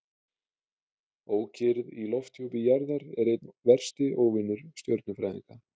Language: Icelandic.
Ókyrrð í lofthjúpi jarðar er einn versti óvinur stjörnufræðinga.